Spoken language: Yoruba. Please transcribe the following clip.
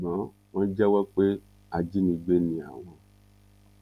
ṣùgbọn wọn jẹwọ pé ajínigbé ni àwọn